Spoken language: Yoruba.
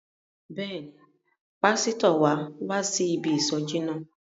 Bẹ́ẹ̀ni, pásítọ̀ wa wá sí ibi ìsọjí náà.